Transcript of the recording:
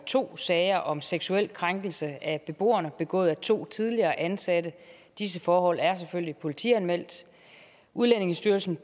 to sager om seksuel krænkelse af beboerne begået af to tidligere ansatte disse forhold er selvfølgelig politianmeldt udlændingestyrelsen